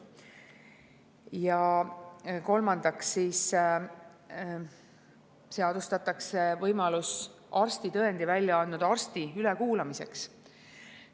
Ja kolmandaks seadustatakse võimalus arstitõendi välja andnud arsti ülekuulamiseks.